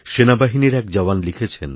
সেনাবাহিনীরএক জওয়ান লিখেছেন